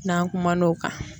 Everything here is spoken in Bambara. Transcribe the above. N'an kumana o kan